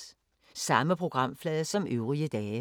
Samme programflade som øvrige dage